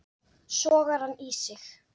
Sogar hann í sig.